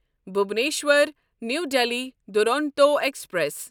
Bhubaneswar new Delhi Duronto express